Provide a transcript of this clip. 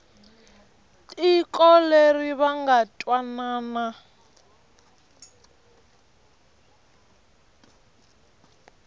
tiko leri va nga twanana